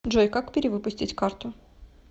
джой как перивыпустить карту